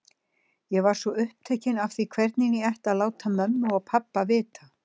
Ég var svo upptekinn af því hvernig ég ætti að láta mömmu og pabba vita.